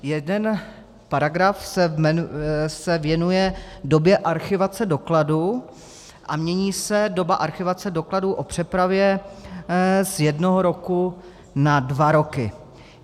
Jeden paragraf se věnuje době archivace dokladů a mění se doba archivace dokladů o přepravě z jednoho roku na dva roky.